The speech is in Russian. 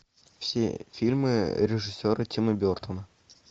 все фильмы режиссера тима бертона